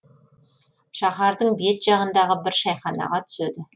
шаһардың шет жағындағы бір шайханаға түседі